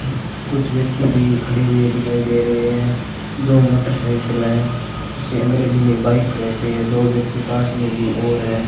कुछ व्यक्ति भी खड़े हुए दिखाई दे रहे हैं दो मोटरसाइकिल है इसे अंग्रेजी में बाइक कहते हैं दो व्यक्ति पास में भी और है।